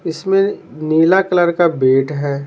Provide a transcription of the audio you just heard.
इसमें नीला कलर का बेट है।